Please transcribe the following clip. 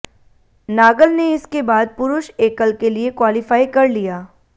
नागल ने इसके बाद पुरुष एकल के लिए क्वालीफाई कर लिया